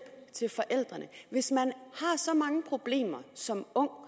til forældrene hvis man har så mange problemer som ung og